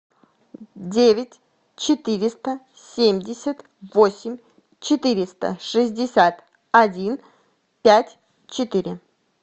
девять четыреста семьдесят восемь четыреста шестьдесят один пять четыре